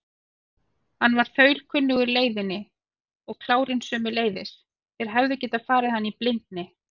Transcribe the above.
Hann var þaulkunnugur leiðinni og klárinn sömuleiðis, þeir hefðu getað farið hana í blindni.